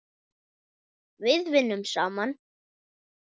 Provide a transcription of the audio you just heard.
Við vinnum saman!